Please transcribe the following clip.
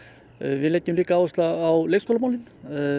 við leggjum líka áherslu á leikskólamálin